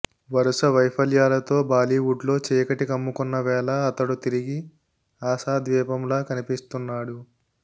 వరుస వైఫల్యాలతో బాలీవుడ్లో చీకటి కమ్ముకున్న వేళ అతడు తిరిగి ఆశాద్వీపంలా కనిపిస్తున్నాడు